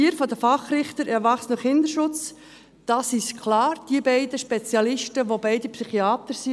Zur vierten Wahl, Fachrichter für das Kindes- und Erwachsenenschutzgericht: Da ist es klar, dass die beiden Spezialisten Psychiater sind.